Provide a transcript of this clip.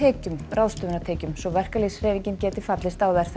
ráðstöfunartekjum svo verkalýðshreyfingin fallist á þær